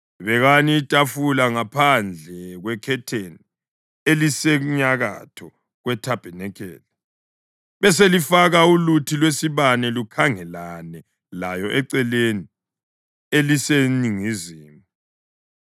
Bekani itafula ngaphandle kwekhetheni elisenyakatho kwethabanikeli, beselifaka uluthi lwesibane lukhangelane layo eceleni eliseningizimu.